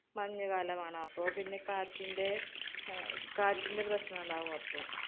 മഞ്ഞുകാലമാണ്. അപ്പോ പിന്നെ കാറ്റിന്‍റെ അഹ് കാറ്റിന്‍റെ പ്രശ്നം ഉണ്ടാവുമപ്പോ.